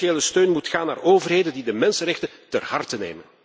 Financiële steun moet gaan naar overheden die de mensenrechten ter harte nemen!